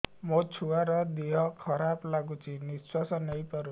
ମୋ ଛୁଆର ଦିହ ଖରାପ ଲାଗୁଚି ନିଃଶ୍ବାସ ନେଇ ପାରୁନି